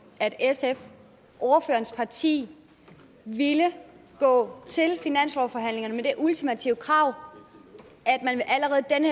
at sf ordførerens parti ville gå til finanslovsforhandlingerne med det ultimative krav